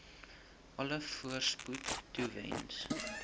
alle voorspoed toewens